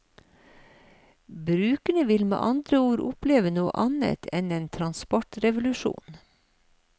Brukerne vil med andre ord oppleve noe annet enn en transportrevolusjon.